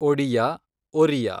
Odia, Oriya